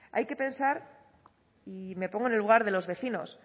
hay que pensar y me pongo en el lugar de los vecinos